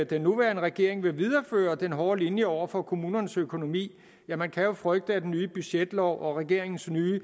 den nuværende regering vil videreføre den hårde linje over for kommunernes økonomi ja man kan frygte at den nye budgetlov og regeringens nye